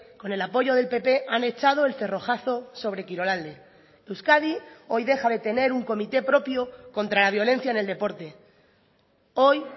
con el apoyo del pp han echado el cerrojazo sobre kirolalde euskadi hoy deja de tener un comité propio contra la violencia en el deporte hoy